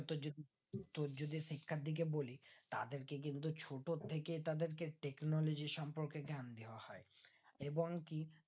অত যদি তোর যদি শিক্ষার দিকে বলি তাদের তাদেরকে কিন্তু ছোট থেকে তাদেরকে technology সম্পর্কে জ্ঞান দেয় হয় এবং কি